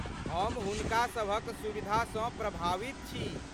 हम हुनका सभक सुविधासँ प्रभावित छी।